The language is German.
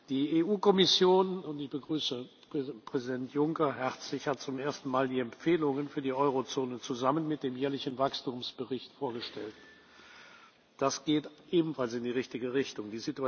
Die EU Kommission ich begrüße Präsident Juncker herzlich hat zum ersten Mal die Empfehlungen für die Eurozone zusammen mit dem jährlichen Wachstumsbericht vorgestellt. Das geht ebenfalls in die richtige Richtung.